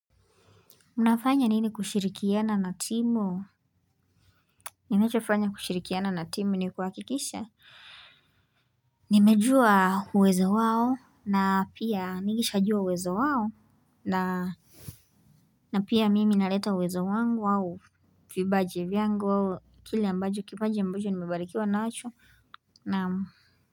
Unfanya nini kushirikiana na timu. Ninachofanya kushirikiana na timu ni kuhakikisha. Nimejua uwezo wao na pia nikishajua uwezo wao na na pia mimi naleta uwezo wangu au vipaji vyangu au kile ambacho kipaji ambacho nimebarikiwa nacho na.